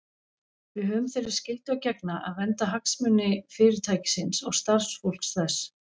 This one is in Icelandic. Við höfum þeirri skyldu að gegna að vernda hagsmuni Fyrirtækisins og starfsfólks þess.